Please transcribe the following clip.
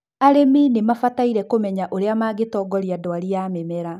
arĩmi nimabataire kũmenya ũria magĩtoria ndwari ya mĩmera